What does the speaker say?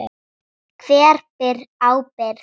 Hver ber ábyrgð?